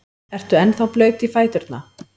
Ertu ennþá blaut í fæturna?